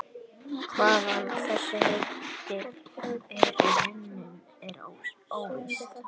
Hvaðan þessi heiti eru runnin er óvíst.